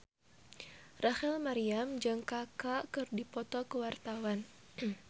Rachel Maryam jeung Kaka keur dipoto ku wartawan